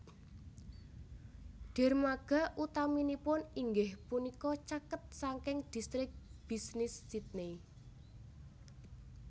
Dermaga utaminipun inggih punika caket saking distrik bisnis Sydney